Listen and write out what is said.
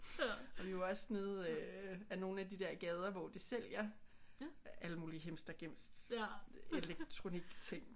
Og vi var også nede øh ad nogle af de der gader hvor de sælger alle mulige himstregims elektronikting